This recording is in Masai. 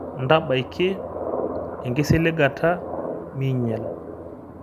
Ntabaiki engisiligata minyal.